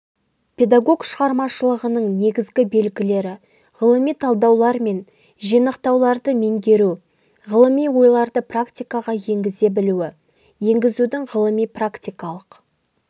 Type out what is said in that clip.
педагог шығармашылығының негізгі белгілері ғылыми талдаулар мен жинақтауларды меңгеру ғылыми ойларды практикаға енгізе білуі енгізудің ғылыми-практикалық